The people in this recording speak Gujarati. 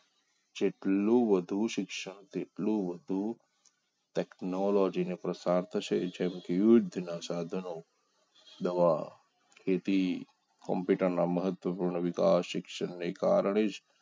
કેટલું વધુ શિક્ષણ કેટલુ વધુ ટેકનોલોજીને પસાર થશે જેમ કે યુદ્ધ ના સાધનો દવા ખેતી કમ્પ્યુટરના મહત્વપૂર્ણ વિકાસ શિક્ષણને કારણે જ